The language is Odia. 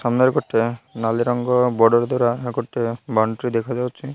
ସାମ୍ନାରେ ଗୋଟେ ନାଲି ରଙ୍ଗ ବଡର ଦ୍ବାର ଆଉ ଗୋଟେ ବାଉଣ୍ଡ୍ରି ଦେଖାଯାଉଛି।